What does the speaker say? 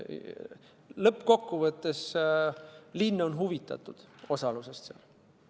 Lõppkokkuvõttes on linn osalemisest huvitatud.